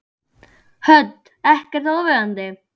Hödd: Ekkert óviðeigandi?